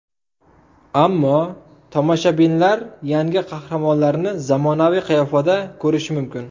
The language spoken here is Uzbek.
Ammo tomoshabinlar yangi qahramonlarni zamonaviy qiyofada ko‘rishi mumkin.